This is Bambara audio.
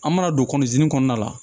An mana don kɔnɔna la